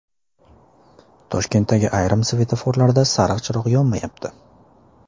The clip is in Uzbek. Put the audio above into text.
Toshkentdagi ayrim svetoforlarda sariq chiroq yonmayapti.